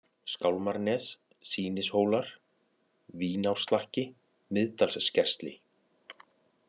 Skálmarnes, Sýnishólar, Vínárslakki, Miðdalsskersli